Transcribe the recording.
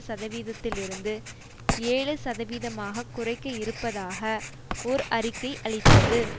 சதவீதத்திலிருந்து ஏழு சதவீதமாக குறைக்க இருப்பதாக ஓர் அறிக்கை அளித்தது